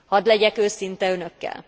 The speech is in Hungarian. Hadd legyek őszinte Önökkel.